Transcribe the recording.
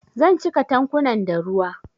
Zan cika tankunan da ruwa